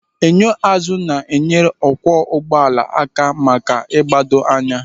Enyo azụ ga-enyere ọkwọ ụgbọala aka ịgbado anya.